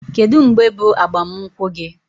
Kedụ mgbe bụ agbam nkwụ gi?